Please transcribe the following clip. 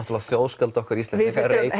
þjóðskáld okkar Íslendinga